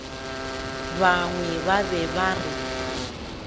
bangwe ba be ba re